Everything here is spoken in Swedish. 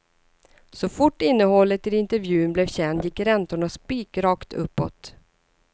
Så fort innehållet i intervjun blev känd gick räntorna spikrakt uppåt.